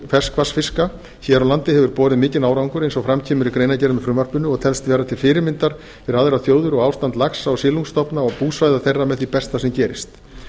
ferskvatnsfiska hér á landi hefur borið mikinn árangur eins og fram kemur í greinargerð með frumvarpinu og telst vera til fyrirmyndar fyrir aðrar þjóðir og ástand laxa og silungastofna og búsvæða þeirra með því besta sem gerist